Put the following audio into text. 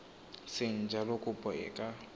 seng jalo kopo e ka